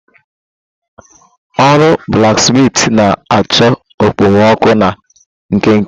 Ọrụ blaksmitị na-achọ okpomọkụ na nkenke.